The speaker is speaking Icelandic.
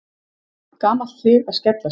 Gamalt hlið að skellast.